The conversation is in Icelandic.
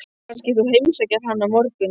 Kannski þú heimsækir hann á morgun?